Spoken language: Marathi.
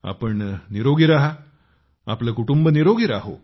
आपण निरोगी राहा आपले कुटुंब निरोगी राहो